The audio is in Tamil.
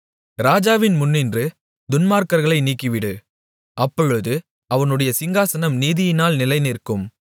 ராஜாவின் முன்னின்று துன்மார்க்கர்களை நீக்கிவிடு அப்பொழுது அவனுடைய சிங்காசனம் நீதியினால் நிலைநிற்கும்